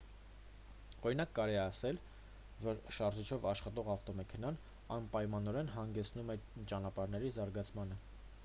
օրինակ կարելի է ասել որ շարժիչով աշխատող ավտոմեքենան անպայմանորեն հանգեցնում է ճանապարհների զարգացմանը